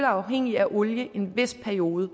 afhængige af olie i en vis periode